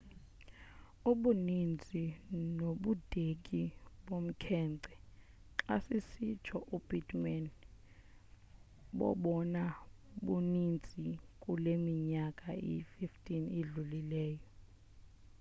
ubuninzi nobudeki bomkhence xa kusitsho u-pittman bobona buninzi kule minyaka iyi-15 idlulileyo